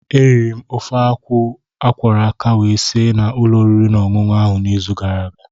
Eriri m ofe akwụ akwọrọ aka wee si na ụlọ oriri na ọṅụṅụ ahụ n'izu gara aga.